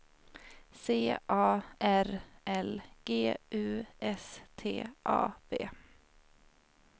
C A R L G U S T A V